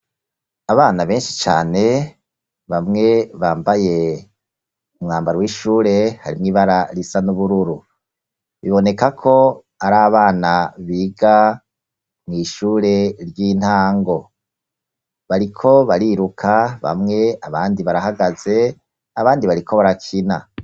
Abana benshi cane bamwe bambaye umwambaro w'ishure harimwo ibara risa nubururu biboneka ko ari abana biga mu ishure ry'intango bariko bariruka bamwe abandi barahagaze, abandi bariko barakina.